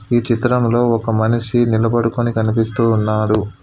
ఈ చిత్రంలో ఒక మనిషి నిలబడుకుని కనిపిస్తూ ఉన్నాడు.